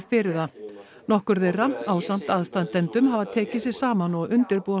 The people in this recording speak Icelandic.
fyrir það nokkur þeirra ásamt aðstandendum hafa tekið sig saman og undirbúa